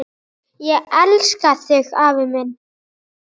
Ég elska þig afi minn.